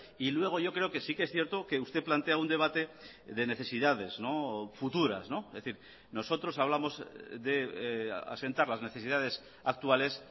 y luego yo creo que sí que es cierto que usted plantea un debate de necesidades futuras es decir nosotros hablamos de asentar las necesidades actuales